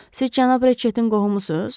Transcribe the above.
Siz cənab Reçetin qohumusunuz?